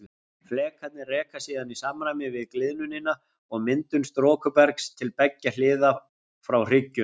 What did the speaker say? Flekarnir reka síðan í samræmi við gliðnunina og myndun storkubergs til beggja hliða frá hryggjunum.